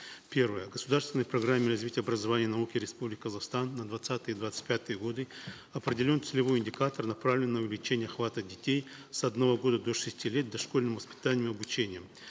первое в государственной программе развития образования и науки республики казахстан на двадцатые двадцать пятые годы определен целевой индикатор направленный на увеличение охвата детей с одного года до шести лет дошкольным воспитанием и обучением